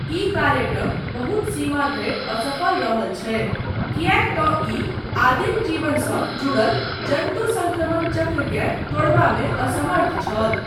ई कार्यक्रम बहुत सीमा धरि असफल रहल छै किएक तँ ई आदिम जीवनसँ जुड़ल जन्तुसंक्रमण चक्रकेँ तोड़बामे असमर्थ छल।